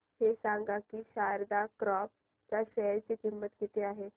हे सांगा की शारदा क्रॉप च्या शेअर ची किंमत किती आहे